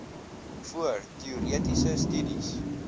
voor teoretiese studies